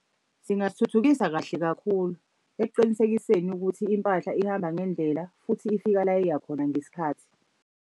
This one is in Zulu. Singathuthukisa kahle kakhulu, ekuqinisekiseni ukuthi impahla ihamba ngendlela futhi ifika la eya khona ngesikhathi.